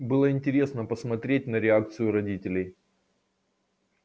было интересно посмотреть на реакцию родителей